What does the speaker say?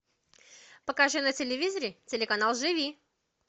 покажи на телевизоре телеканал живи